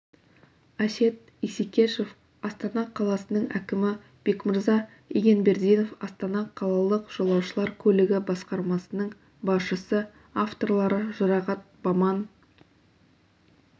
әсет исекешев астана қаласының әкімі бекмырза игенбердинов астана қалалық жолаушылар көлігі басқармасының басшысы авторлары жұрағат баман